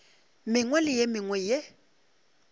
mengwe le ye mengwe ye